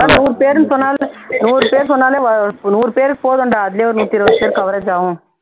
அதான் நூறு பேருன்னு சொன்னாலே நூறு பேரு சொன்னாலே நூறு பேருக்கு போதுண்டா அதுலயே ஒரு நூத்தியிருபத்தி ஐந்துபேர் coverage ஆகும்